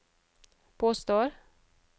påstår